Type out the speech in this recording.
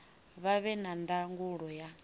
vha vhe na ndangulo ya